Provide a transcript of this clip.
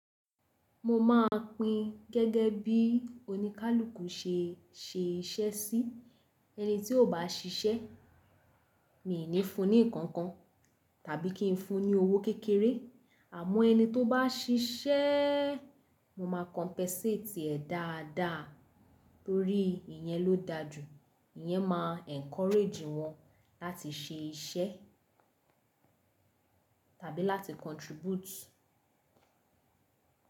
Mo máa pin gẹ́gẹ́ bí oníkálùkù ṣe ṣẹ iṣẹ́ sí. Ẹni tí ò bá ṣiṣẹ́, mi ò ní fun ní nǹkan kan tàbí kí n fun ní owó kékeré. Àmọ́ ẹni tó bá ṣiṣẹ́, mo máa compensate ẹ̀ dáadáa torí ìyẹn ló dájú. Ìyẹn máa encourage wọn láti ṣe iṣẹ́ tàbí láti contribute.